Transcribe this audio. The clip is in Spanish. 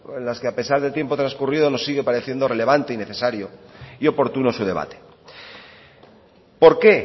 en las que a pesar del tiempo transcurrido nos sigue pareciendo relevante y necesario y oportuno su debate por qué